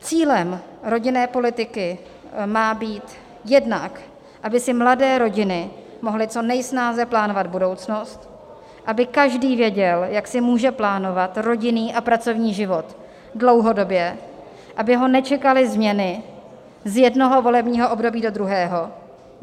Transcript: Cílem rodinné politiky má být jednak, aby si mladé rodiny mohly co nejsnáze plánovat budoucnost, aby každý věděl, jak si může plánovat rodinný a pracovní život dlouhodobě, aby ho nečekaly změny z jednoho volebního období do druhého.